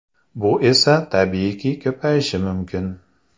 Bu esa tabiiyki ko‘payishi mumkin.